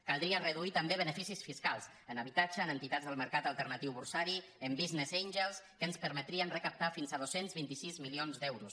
caldria reduir també beneficis fiscals en habitatge en entitats del mercat alternatiu borsari en business angels que ens permetrien recaptar fins a dos cents i vint sis milions d’euros